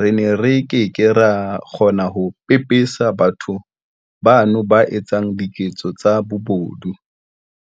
re ne re ke ke ra kgona ho pepesa batho bano ba etsang diketso tsa bobodu.